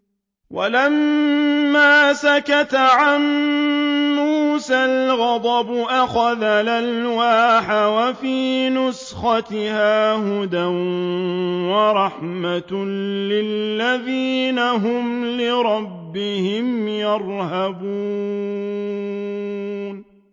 وَلَمَّا سَكَتَ عَن مُّوسَى الْغَضَبُ أَخَذَ الْأَلْوَاحَ ۖ وَفِي نُسْخَتِهَا هُدًى وَرَحْمَةٌ لِّلَّذِينَ هُمْ لِرَبِّهِمْ يَرْهَبُونَ